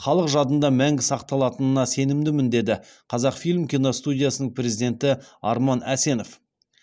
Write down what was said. халық жадында мәңгі сақталатынына сенімдімін деді қазақфильм киностудиясының президенті арман әсенов